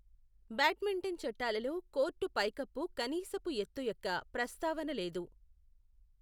Badminton చట్టాలలో court పైకప్పు కనీసపు ఎత్తు యొక్క ప్రస్తావన లేదు.